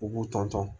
U b'u ton ton